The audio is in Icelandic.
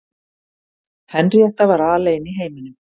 Henríetta var alein í heiminum.